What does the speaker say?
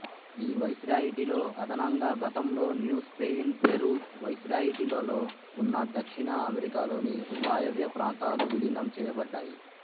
ఈవైశ్రాయిటీలో అదనంగా గతంలో New Spain Peru వైశ్రాయిటీలలో ఉన్న దక్షిణ అమెరికాలోని వాయవ్యప్రాంతాలు వీలీనం చేయబడ్డాయి